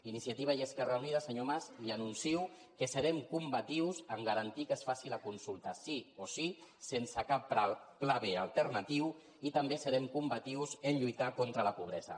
iniciativa i esquerra unida senyor mas li anuncio que serem combatius a garantir que es faci la consulta sí o sí sense cap pla b alternatiu i també serem combatius a lluitar contra la pobresa